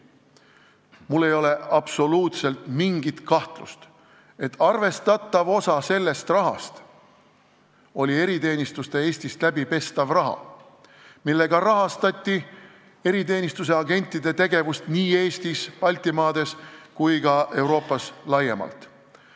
Mul ei ole vähimatki kahtlust, et arvestatav osa sellest rahast oli eriteenistuste Eestis läbipestav raha, millega rahastati eriteenistuse agentide tegevust nii Eestis, mujal Baltimaades kui ka Euroopas laiemalt.